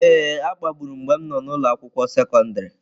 Ee, a kpagburu m mgbe m nọ n'ụlọ akwụkwọ sekọndrị.